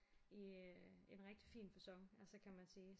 I en rigtig fin facon altså kan man sige